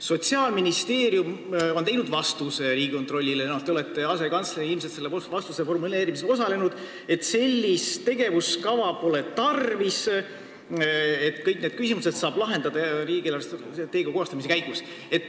Sotsiaalministeerium on koostanud Riigikontrollile vastuse – teie olete asekantsler, seega ilmselt osalenud selle formuleerimisel –, et sellist tegevuskava pole tarvis ja kõik need küsimused saab lahendada riigi eelarvestrateegia koostamise käigus.